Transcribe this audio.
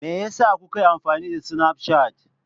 Me yasa kuka yi amfani da Snapchat?